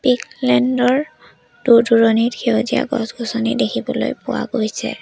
Land ৰ দূৰ-দূৰণিত সেউজীয়া গছ-গছনি দেখিবলৈ পোৱা গৈছে।